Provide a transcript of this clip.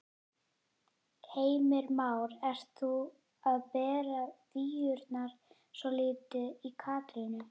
Heimir Már: Ert þú að bera víurnar svolítið í Katrínu?